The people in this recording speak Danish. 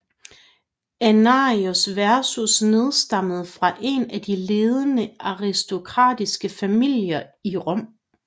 Annianus Verus nedstammende fra en af de ledende aristokratiske familier i Rom